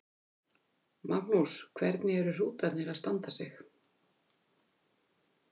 Magnús: Hvernig eru hrútarnir að standa sig?